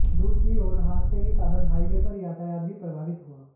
दूसरी ओर हादसे के कारण हाईवे पर यातायात भी प्रभावित हुआ